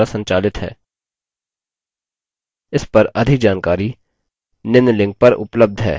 इस पर अधिक जानकारी निम्न लिंक पर उपलब्ध है